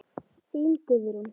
Þín Guðrún.